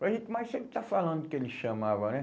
Mas gente, mas se ele está falando que ele chamava, né?